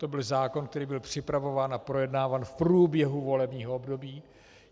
To byl zákon, který byl připravován a projednáván v průběhu volebního období.